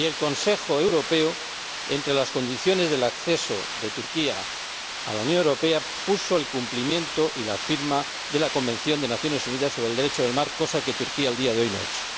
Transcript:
Y el Consejo Europeo, entre las condiciones del acceso de Turquía a la Unión Europea, estableció el cumplimiento y la firma de la Convención de las Naciones Unidas sobre el Derecho del Mar, cosa que Turquía, al día de hoy, no ha hecho.